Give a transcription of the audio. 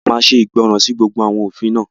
A máa ṣe ìgbọràn sí gbogbo àwọn òfin náà